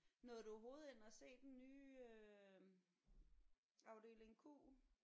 Nåede du overhovedet ind at se den nye øh Afdeling Q?